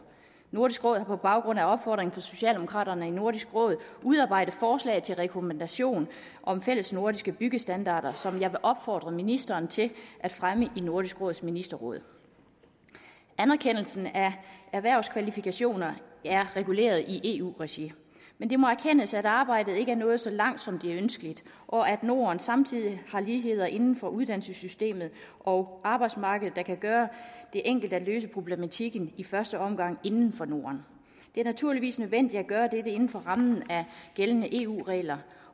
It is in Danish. nordisk råd har på baggrund af opfordringer fra socialdemokraterne i nordisk råd udarbejdet forslag til rekommandation om fællesnordiske byggestandarder som jeg vil opfordre ministeren til at fremme i nordisk råds ministerråd anerkendelsen af erhvervskvalifikationer er reguleret i eu regi men det må erkendes at arbejdet ikke er nået så langt som det er ønskeligt og at norden samtidig har ligheder inden for uddannelsessystemet og arbejdsmarkedet der kan gøre det enkelt at løse problematikken i første omgang inden for norden det er naturligvis nødvendigt at gøre dette inden for rammen af gældende eu regler